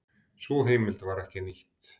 Sú heimild var ekki nýtt.